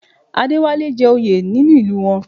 Adéwálé jẹ́ oyè nínú ìlú wọn